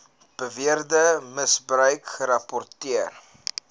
beweerde misbruik gerapporteer